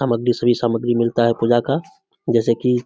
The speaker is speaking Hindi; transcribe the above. सभी सामग्री मिलता है पूजा का जैसे की --